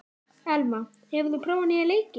Elma, hefur þú prófað nýja leikinn?